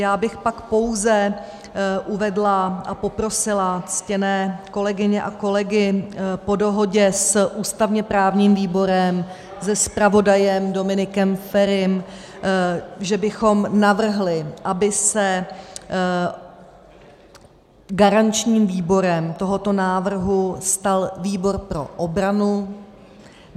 Já bych pak pouze uvedla a poprosila ctěné kolegyně a kolegy po dohodě s ústavně-právním výborem, se zpravodajem Dominikem Ferim, že bychom navrhli, aby se garančním výborem tohoto návrhu stal výbor pro obranu.